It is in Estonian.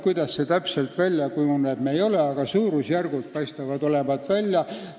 Kuidas see täpselt olema hakkab, ei ole teada, aga suurusjärgud paistavad olevat välja kujunenud.